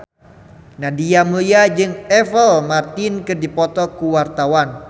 Nadia Mulya jeung Apple Martin keur dipoto ku wartawan